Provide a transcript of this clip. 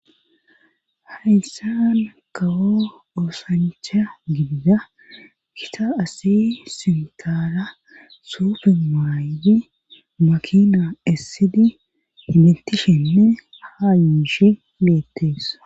hayssan kawo oosancha gibida kita asi sinkaara suufe maaydi makina essidi identishenne haa yishi geettees